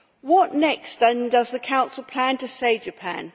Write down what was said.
What next, then, does the Council plan to say to Japan?